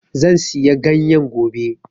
Zan siya ganyen gobe